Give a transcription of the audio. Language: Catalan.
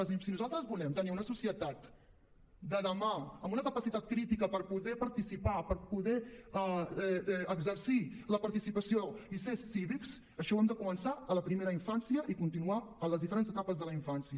si nosaltres volem tenir una societat del demà amb una capacitat crítica per poder participar per poder exercir la participació i ser cívics això ho hem de començar a la primera infància i continuar a les diferents etapes de la infància